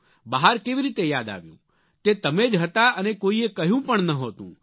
બહાર કેવી રીતે યાદ આવ્યું તે તમે જ હતા અને કોઈએ કહ્યું પણ નહોતું